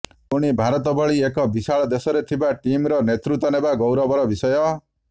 ପୁଣି ଭାରତ ଭଳି ଏକ ବିଶାଳ ଦେଶରେ ଥିବା ଟିମ୍ର ନେତୃତ୍ୱ ନେବା ଗୌରବର ବିଷୟ